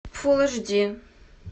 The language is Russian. фулл эйч ди